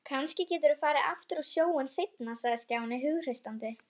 Kannski geturðu farið aftur á sjóinn seinna sagði Stjáni hughreystandi.